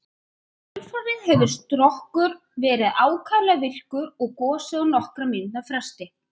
Í kjölfarið hefur Strokkur verið ákaflega virkur og gosið á nokkurra mínútna fresti.